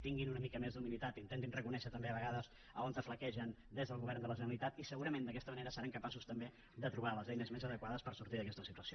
tinguin una mica més d’humilitat intentin reconèixer també a vegades on flaquegen des del govern de la generalitat i segurament d’aquesta manera seran capaços també de trobar les eines més adequades per sortir d’aquesta situació